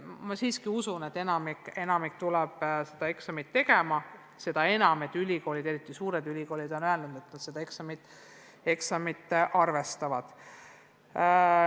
Ma siiski usun, et enamik tuleb eksameid tegema, seda enam, et ülikoolid, eriti suured ülikoolid, on öelnud, et nad neid eksameid arvestavad.